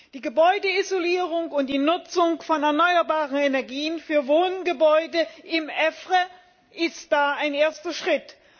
Die Gebäudeisolierung und die Nutzung von erneuerbaren Energien für Wohngebäude im EFRE sind da ein erster Schritt.